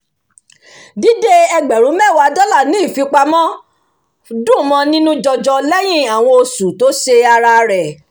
dídé ẹgbẹ̀rún mẹ́wàá dọ́là ní ìfipamọ́ dùn mọ́ nínú jọ́jọ́ lẹ́yìn àwọn oṣù to ṣé ara rẹ̀